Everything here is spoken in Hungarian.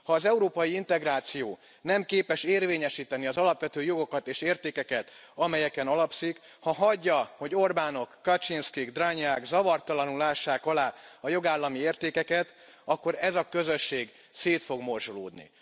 Ha az európai integráció nem képes érvényesíteni az alapvető jogokat és értékeket, amelyeken alapszik, ha hagyja, hogy Orbánok, Kaczyńskik, Dragneák zavartalanul ássák alá a jogállami értékeket, akkor ez a közösség szét fog morzsolódni.